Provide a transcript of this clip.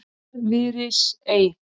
Örfirisey